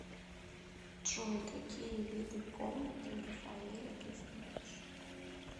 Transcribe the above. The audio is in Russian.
джой какие виды комнаты рафаэля ты знаешь